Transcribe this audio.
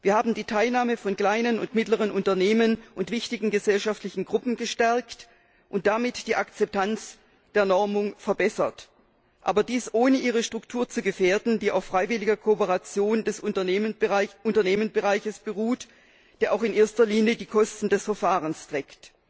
Wir haben die Teilnahme von kleinen und mittleren Unternehmen und wichtigen gesellschaftlichen Gruppen gestärkt und damit die Akzeptanz der Normung verbessert, aber dies, ohne ihre Struktur zu gefährden, die auf freiwilliger Kooperation des Unternehmensbereichs beruht, der auch in erster Linie die Kosten des Verfahrens trägt.